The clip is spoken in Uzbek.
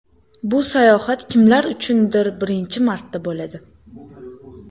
Bu sayohat kimlar uchundir birinchi marta bo‘ladi.